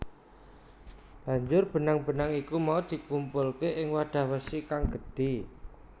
Banjur benang benang iku mau dikumpulke ing wadah wesi kang gedhe